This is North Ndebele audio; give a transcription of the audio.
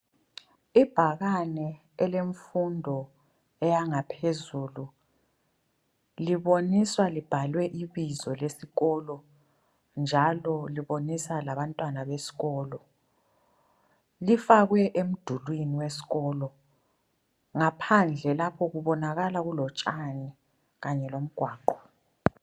Ibhakane elemfundo eyangaphezulu libonisa libhalwe ibizo lesiko njalo libonisa labantwana besikolo ,lifakwe emdulwini wesikolo, ngaphandle lapho kubonakala kulotshani Kanye komgwaqo